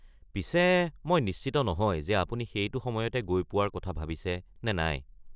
পিছে মই নিশ্চিত নহয় যে আপুনি সেইটো সময়তে গৈ পোৱাৰ কথা ভাবিছে নে নাই।